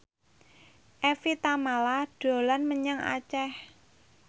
Evie Tamala dolan menyang Aceh